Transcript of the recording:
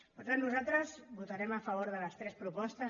per tant nosaltres votarem a favor de les tres propostes